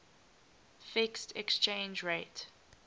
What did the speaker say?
fixed exchange rate